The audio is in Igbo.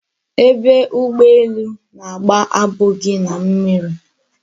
Ebe ugboelu na-agba abụghị na mmịrị